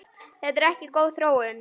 Þetta er ekki góð þróun.